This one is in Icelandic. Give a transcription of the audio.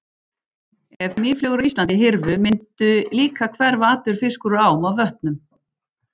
Ef mýflugur á Íslandi hyrfu mundi líka hverfa allur fiskur úr ám og vötnum.